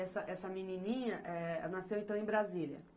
Essa, essa menininha nasceu, então, em Brasília?